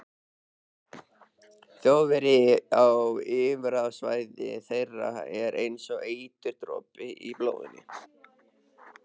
Þjóðverji á yfirráðasvæði þeirra er einsog eiturdropi í blóðinu.